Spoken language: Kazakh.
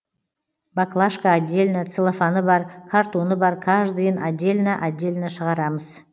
баклашка отдельно целлофаны бар картоны бар каждыйын отдельно отдельно шығарамыз